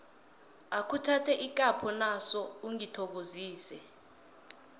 akhuthathe ikapho naso ungithokozise